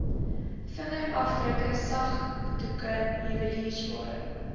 vingerafdrukke sakdoek juweliersware